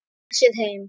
Koma sér heim.